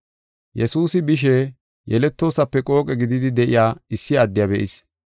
Yesuusi bishe yeletoosape qooqe gididi de7iya issi addiya be7is.